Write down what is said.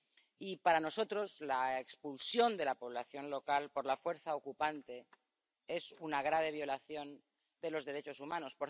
Y para nosotros, la expulsión de la población local por la fuerza ocupante es una grave violación de los derechos humanos.